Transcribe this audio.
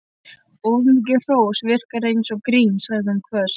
Of mikið hrós virkar eins og grín sagði hún hvöss.